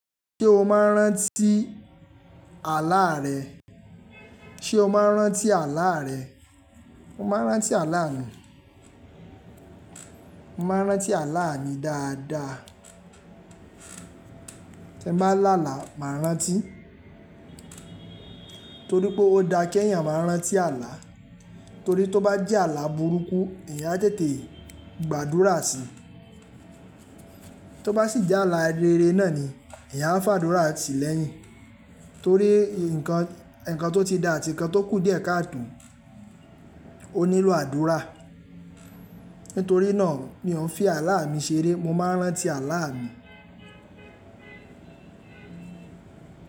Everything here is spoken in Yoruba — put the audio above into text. Ṣé o máa ń rántí àláà rẹ? Ṣé o máa ń rántí àláà rẹ? Mo máa ń rántí àláà mi. Mo máa ń rántí àláà mi dáadáa. Tí n bá làálàá, màá rántí torí pé ó da kí ẹ̀yàn máa rántí àlá. Torí tó bá jẹ́ àlá burúkú, ẹ̀yàn á tètè gbàdúrà sí i. Tó bá sì jẹ́ àlá rere náà ni, ẹ̀yàn á fàdúrà sí i lẹ́yìn. Torí ǹkan tó ti dà àti ǹkan tó kù díẹ̀ káàtò, ó nílò àdúrà. Nítorí náà ni mò ń fi àláà mi ṣeré. Mo máa ń rántí àláà mi.